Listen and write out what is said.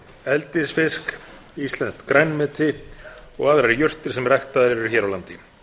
eldisfisk íslenskt grænmeti og aðrar jurtir sem ræktaðar eru hér á landi